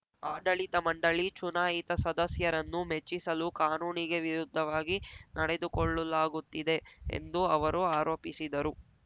ಆಡಳಿತ ಮಂಡಳಿ ಚುನಾಯಿತ ಸದಸ್ಯರನ್ನು ಮೆಚ್ಚಿಸಲು ಕಾನೂನಿಗೆ ವಿರುದ್ಧವಾಗಿ ನಡೆದುಕೊಳ್ಳಲಾಗುತ್ತಿದೆ ಎಂದು ಅವರು ಆರೋಪಿಸಿದರು